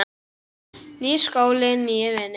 Nýr skóli, nýir vinir.